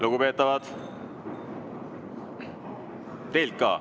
Lugupeetavad!